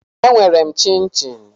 E nwere m chinchin